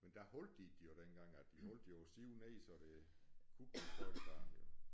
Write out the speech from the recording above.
Men der holdt de det jo dengang at de holdt jo siv nede så det kunne blive skøjtebane jo